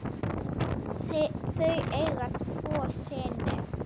Þau eiga tvo syni.